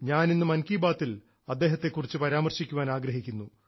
ഞാൻ ഇന്ന് മൻ കി ബാത്തിൽ അദ്ദേഹത്തെ കുറിച്ച് പരാമർശിക്കാൻ ആഗ്രഹിക്കുന്നു